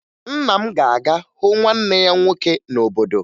Nna m ga-aga hụ nwanne ya nwoke n'obodo